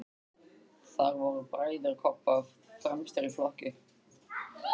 Þar voru bræður Kobba fremstir í flokki.